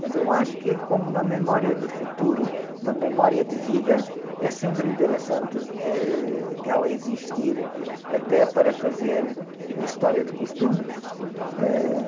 Mas eu acho que como uma memória de futuro, uma memória de vida, é sempre interessante, ãh, ela existir até para fazer a história de costumes.